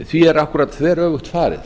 því er akkúrat þveröfugt farið